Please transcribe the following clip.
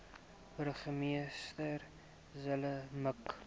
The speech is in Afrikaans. burgemeester zille mik